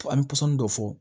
An bɛ pɔsɔni dɔ fɔ